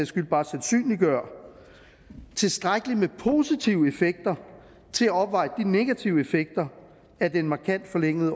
skyld bare sandsynliggør tilstrækkeligt med positive effekter til at opveje de negative effekter af den markant forlængede